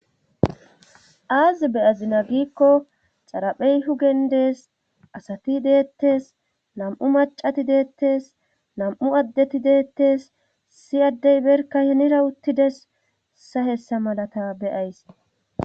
aazi beyazina giikko xaraphey hu gendes asati deettes nam7u macati deettes nam7u addeti deettes si addey berka henira uttides ssa hessa malata beyays